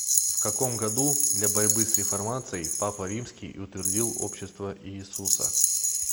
в каком году для борьбы с реформацией папа римский утвердил общество иисуса